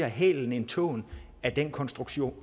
hælen end tåen af den konstruktion